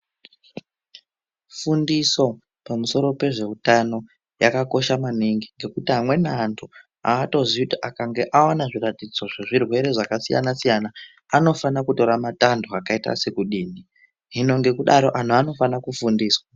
Fundiso ,pamusoro pezveutano, yakakosha maningi, ngekuti amweni antu, aatoziyi kuti akange aona zviratidzo zvezvirwere zvakasiyana-siyana anofana kutora matanto akaita sekudini .Hino ngekudaro, anhu anofana kufundiswa.